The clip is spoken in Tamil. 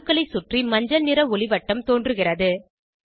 அணுக்களை சுற்றி மஞ்சள் நிள ஒளிவட்டம் தோன்றுகிறது